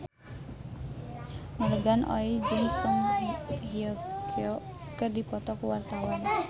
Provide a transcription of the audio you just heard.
Morgan Oey jeung Song Hye Kyo keur dipoto ku wartawan